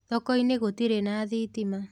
Thokoinĩ gũtirĩ na thitima.